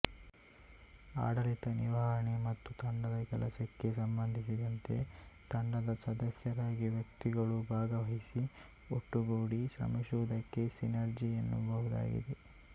ಆಡಳಿತ ನಿರ್ವಹಣೆ ಮತ್ತು ತಂಡದ ಕೆಲಸಕ್ಕೆ ಸಂಬಂಧಿಸಿದಂತೆ ತಂಡದ ಸದಸ್ಯರಾಗಿ ವ್ಯಕ್ತಿಗಳು ಭಾಗವಹಿಸಿ ಒಟ್ಟುಗೂಡಿ ಶ್ರಮಿಸುವುದಕ್ಕೆ ಸಿನರ್ಜಿ ಎನ್ನಬಹುದಾಗಿದೆ